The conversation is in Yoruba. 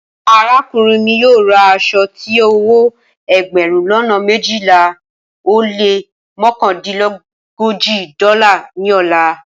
Arakunrin mi yoo ra aso ti owo egberun lona mejila o le mokandinlogoji dọla ni ọla